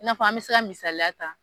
I n'a fɔ an mi se ka misaliya ta